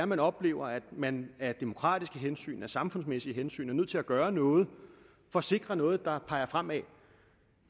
man oplever at man af demokratiske hensyn af samfundsmæssige hensyn er nødt til at gøre noget for at sikre noget der peger fremad